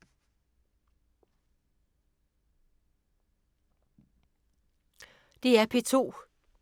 DR P2